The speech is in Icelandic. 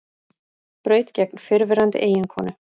Braut gegn fyrrverandi eiginkonu